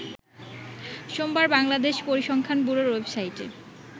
সোমবার বাংলাদেশ পরিসংখ্যান ব্যুরোর ওয়েবসাইটে